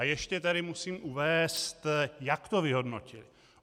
A ještě tady musím uvést, jak to vyhodnotili.